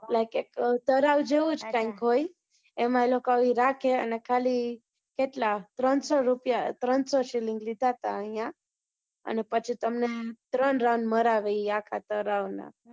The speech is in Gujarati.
ઓલા, તરાઈ જેવું જ કાઈંક હોય, એમાંંઈ લોકો રાખે અને ખાલી કેટલા? ત્રણસો રૂપિયા, ત્રણસો શિલિંગ લીધા હતા અહિયા. અને પછી તમને ત્રણ round મરાવે ઈ આખા તરાઈના